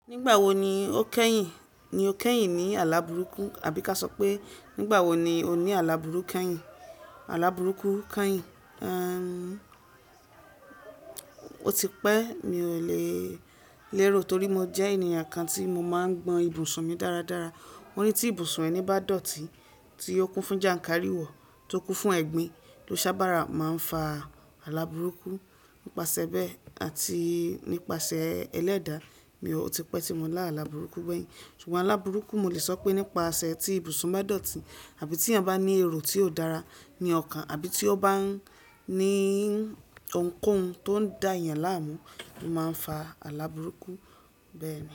Nígbà wo ni o kẹ́yìn ni o kẹ́yìn ní àlàburúkú àbí ka sọ pé nígbà wo ni o ní àlàburú kẹ́yìn àlàburúkú kẹ́yìn? O ti pẹ́ mi ò lè lérò torí mo jẹ́ ènìyàn kan tí mo máa ń gbọn ibùsùn mi dáradára. Mo rí tí ibùsùn ẹni bá dọ̀tí tí ó kún fún jàǹkáríwọ̀ tó kún fún ẹ̀gbin tó sábàrá máa ń fa àlàburúkú. Nípasẹ̀ bẹ́ẹ̀ àti nípasẹ̀ ẹlẹ́dàá mi ò ti pẹ́ tí mo lá àlàburúkú gbẹ̀yìn. Ṣùgbọ́n àlàburúkú mo lè sọ pé nípasẹ̀ tí ibùsùn bá dọ̀tí àbí tí ẹni bá ní èrò tí ò dára ní ọkàn àbí tí ó bá ní ohunkóhun tó ń dà yàn láàmú, ó máa ń fa àlàburúkú bẹ́ẹ̀ni.